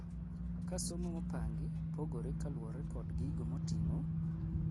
ka somo mopangi pogore kaluore kod gigo moting'o , koka siasa, kisirkal , kwka itayo loch kod gweng kod ji giwegi odak